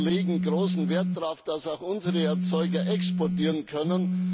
Wir legen großen Wert darauf, dass auch unsere Erzeuger exportieren können.